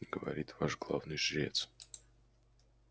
говорит ваш главный жрец